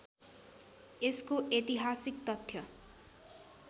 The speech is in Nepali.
यसको ऐतिहासिक तथ्य